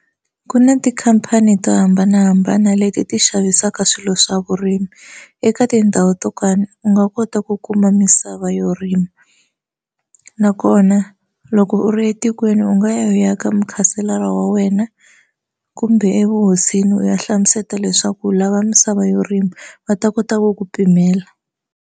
Ku na tikhampani to hambanahambana leti ti xavisaka swilo swa vurimi eka tindhawu to u nga kota ku kuma misava yo rima nakona loko u ri etikweni u nga ya ka mukhanselara wa wena kumbe evuhosini u ya hlamuseta leswaku u lava misava yo rima va ta kota ku ku pimela.